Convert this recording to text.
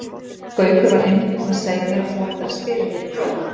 Gaukur var einmitt búinn að segja mér að þú ættir að spila hér í kvöld.